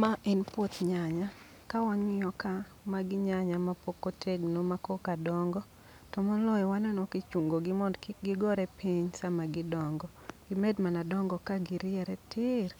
Ma en puoth nyanya, ka wang'iyo ka, magi nyanya ma pok otegno ma koka dongo. To moloyo waneno kichungo gi mond kik gigore piny sama gidongo, gimed mana dongo ka giriere tir.